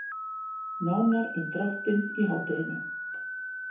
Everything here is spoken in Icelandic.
Nánar um dráttinn í hádeginu.